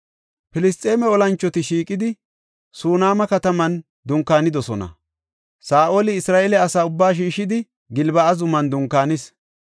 Filisxeeme olanchoti shiiqidi, Suneema kataman dunkaanidosona; Saa7oli Isra7eele asa ubbaa shiishidi, Gilbo7a zuman dunkaanis.